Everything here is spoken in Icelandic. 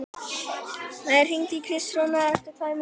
Maía, hringdu í Kristrúnus eftir tvær mínútur.